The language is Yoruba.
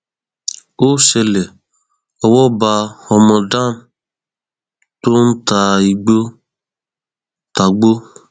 ó ṣẹlẹ owó bá ọmọ dam tó ń ta igbó ta igbó